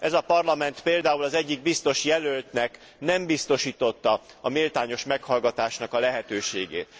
Ez a Parlament például az egyik biztosjelöltnek nem biztosította a méltányos meghallgatás lehetőségét.